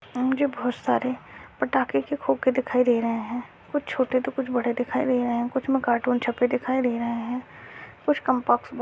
यहाँ मुझे बहुत सारे पटाके के खोके दिखाई दे रहे है कुछ छोटे तो कुछ बड़े दिखाई दे रहे कुछ मे कार्टून छपे दिखाई दे रहे है कुछ कम्पास बो--